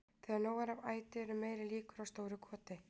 Þegar nóg er af æti eru meiri líkur á stóru goti.